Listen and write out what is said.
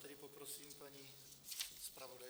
Tedy poprosím paní zpravodajku.